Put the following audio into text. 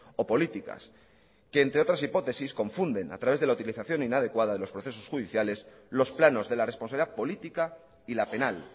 o políticas que entre otras hipótesis confunden a través de la utilización inadecuada de los procesos judiciales los planos de la responsabilidad política y la penal